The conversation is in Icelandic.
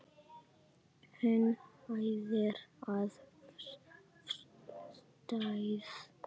Hún æðir af stað.